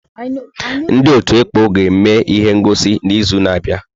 Ndị ọtú ekpọ ga-eme ihe ngọsi n'izu na-abịa.